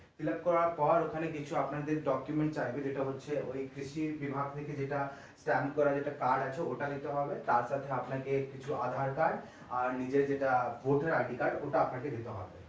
fillup করার পর ওখানে কিছু আপনাদের document লাগবে যেটা হচ্ছে ওই কৃষি বিভাগ থেকে যেটা transfer এর একটা card আছে ওটা দিতে হবে তারপরে আপনাকে কিছু aadhaar card আর নিজের যেটা voter ID card আপনাকে দিতে হবে।